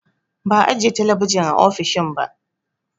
Ba'a ajiye talabijin a ofishin ba